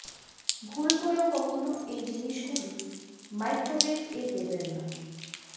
ভুল করেও কখনো এই জিনিসগুলি মাইক্রোওয়েভ এ দেবেন না